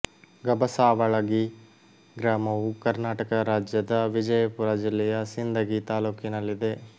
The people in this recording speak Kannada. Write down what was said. ಗಬಸಾವಳಗಿ ಗ್ರಾಮವು ಕರ್ನಾಟಕ ರಾಜ್ಯದ ವಿಜಯಪುರ ಜಿಲ್ಲೆಯ ಸಿಂದಗಿ ತಾಲ್ಲೂಕಿನಲ್ಲಿದೆ